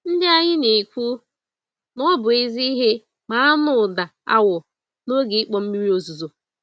Ndị anyị na-ekwu, nọbụ ezi ìhè, ma anụ ụda awọ n'oge ịkpọ mmiri ozuzo